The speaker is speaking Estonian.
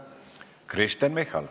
Kristen Michal.